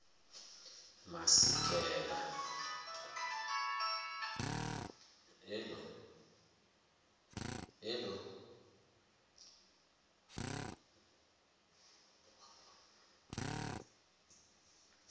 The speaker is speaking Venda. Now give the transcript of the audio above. masikela